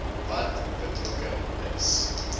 wat betrokke is